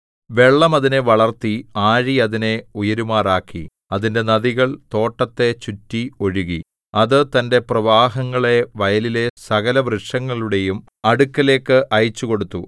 വെള്ളം അതിനെ വളർത്തി ആഴി അതിനെ ഉയരുമാറാക്കി അതിന്റെ നദികൾ തോട്ടത്തെ ചുറ്റി ഒഴുകി അത് തന്റെ പ്രവാഹങ്ങളെ വയലിലെ സകലവൃക്ഷങ്ങളുടെയും അടുക്കലേക്ക് അയച്ചുകൊടുത്തു